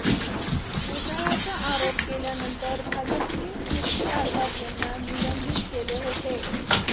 घोटाळ्याचा आरोप केल्यानंतर भाजपने किर्ती आझाद यांना निलंबित केले होते